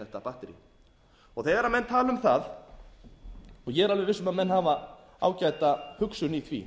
þetta batterí þegar menn tala um það og ég er alveg viss um að menn hafa ágæta hugsun í því